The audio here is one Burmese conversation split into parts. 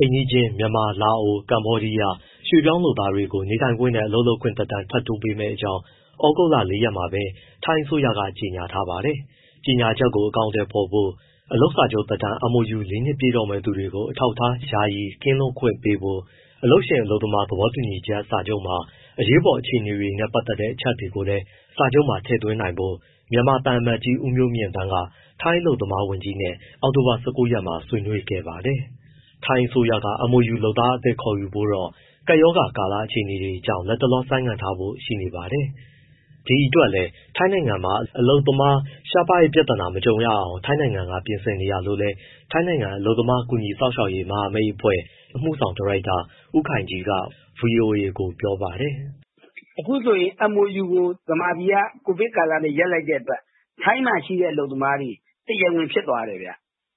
အိမ်နီးချင်း မြန်မာ၊ လာအို၊ ကမ္ဘောဒီယား ရွှေ့ပြောင်းလုပ်သားတွေကို နေထိုင်ခွင့်နဲ့ အလုပ်လုပ်ခွင့်သက်တမ်း ထပ်တိုးပေးမယ့်အကြောင်း သြဂုတ်လ ၄ ရက်နေ့မှာပဲ ထိုင်းအစိုးရက ကြေညာထားပါတယ်။ ကြေညာချက်ကို အကောင်အထည်ဖော်ဖို့၊ အလုပ်စာချုပ်သက်တမ်း MoU ၄ နှစ်ပြည့်တော့မယ့် သူတွေကို အထောက်အထား ယာယီကင်းလွတ်ခွင့်ပေးဖို့၊ အလုပ်ရှင်နဲ့ အလုပ်သမား သဘောတူစာချုပ်မှာ အရေးပေါ်အခြေအနေတွေနဲ့ ပတ်သက်တဲ့ အချက်တွေကိုလည်း စာချုပ်မှာ ထည့်သွင်းနိုင်ဖို့ မြန်မာသံအမတ်ကြီး ဦးမျိုးမြင့်သန်းက ထိုင်းအလုပ်သမား ဝန်ကြီးနဲ့ အောက်တိုဘာ ၁၉ ရက်မှာ ဆွေးနွေးခဲ့ပါတယ်။ ထိုင်းအစိုးရက MoU လုပ်သားအသစ် ခေါ်ယူဖို့တော့ ကိုဗစ်ကပ်ရောဂါ အခြေအနေကြောင့် လတ်တလော ဆိုင်းငံ့ထားဖို့ ရှိနေပါတယ်။ ဒီအတွက်လည်း ထိုင်းနိုင်ငံမှာ အလုပ်သမား ရှားပါးတဲ့ ပြဿနာနဲ့ မကြုံရအောင် ထိုင်းနိုင်ငံက ပြင်ဆင်နေတာလို့လည်း ထိုင်းနိုင်ငံ အလုပ်သမား ကူညီစောင့်ရှောက်ရေး မဟာမိတ်အဖွဲ့ AAC အမှုဆောင်ဒါရိုက်တာ ဦးခိုင်ကြီးက ဗွီအိုအေကို ပြောပါတယ်။ “အခုဆိုရင် MoU ကို မြန်မာပြည်က COVID ကာလနဲ့ ရပ်လိုက်တဲ့အတွက် ထိုင်းမှာရှိတဲ့ အလုပ်သမားတွေ တရားဝင်ဖြစ်သွားတယ်၊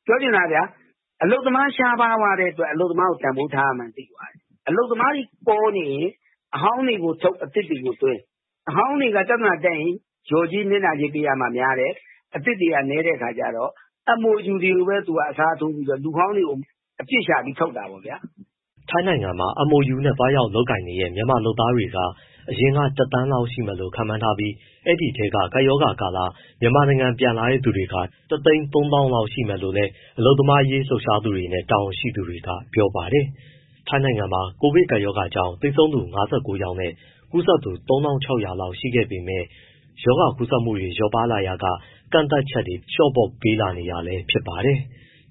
ပြောချင်တာက အလုပ်သမား ရှားပါးသွားတဲ့အတွက် အလုပ်သမားကို တန်ဖိုးထားရမှန်း သိသွားတယ်။ အလုပ်သမားတွေ ပေါနေရင် အဟောင်းတွေကိုထုတ် အသစ်တွေကိုသွင်း။ အဟောင်းတွေက ပြဿနာတက်ရင် လျော်ကြေး၊ နစ်နာကြေး ပေးရမှာ များတယ်၊ အသစ်တွေက နည်းတဲ့အခါကျတော့ MoU တွေကိုပဲ အစားထိုးပြီးတော့ လူဟောင်းတွေကို အပြစ်ရှာပြီး ထုတ်တာပေါ့ဗျာ အလုပ်ရှင်တွေက။” ထိုင်းနိုင်ငံမှာ MoU နဲ့ သွားရောက်လုပ်ကိုင်နေတဲ့ မြန်မာလုပ်သားက အရင်က ၁,၀၀၀,၀၀၀ လောက်ရှိမယ်လို့ ခန့်မှန်းထားပြီး ဒီအထဲက ကပ်ရောဂါကာလမှာ မြန်မာနိုင်ငံ ပြန်လာတဲ့သူ ၁၃၀,၀၀၀ လောက် ရှိမယ်လို့လည်း အလုပ်သမားရေး လှုပ်ရှားသူတွေနဲ့ တာဝန်ရှိသူတွေက ပြောပါတယ်။ ထိုင်းနိုင်ငံမှာ ကိုဗစ်ကပ်ရောဂါကြောင့် သေဆုံးသူ ၅၉ ယောက်နဲ့ ကူးစက်သူ ၃,၆၀၀ လောက် ရှိခဲ့ပေမဲ့ ရောဂါကူးစက်မှုတွေ လျော့ပါးလာရာက ကန့်သတ်ချက်တွေ ပြန်လည်လျှော့ပေါ့ပေးလာနေတာ ဖြစ်ပါတယ်။